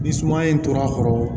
Ni suma in tora a kɔrɔ